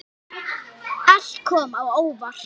Allt kom á óvart.